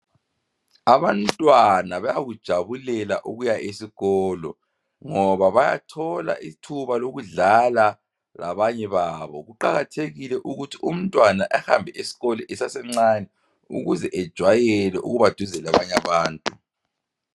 Abantwana bayakujabulela ukuya esikolo ngoba bayathola ithuba lokudlala labanye babo kuqakathekile ukuthi umntwana ahambe esikolo esasemncane ukuze ajayele ukubaseduze labanye abantu.